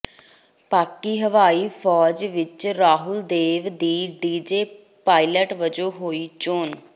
ਪਾਕਿ ਹਵਾਈ ਫੌਜ ਵਿਚ ਰਾਹੁਲ ਦੇਵ ਦੀ ਜੀਡੀ ਪਾਇਲਟ ਵਜੋਂ ਹੋਈ ਚੋਣ